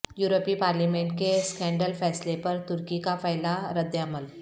یورپی پارلیمنٹ کے اسکینڈل فیصلے پر ترکی کا پہلا رد عمل